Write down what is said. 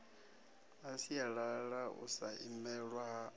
na sialala u sa imelwa